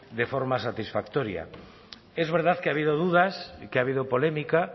de forma satisfactoria es verdad que ha habido dudas que ha habido polémica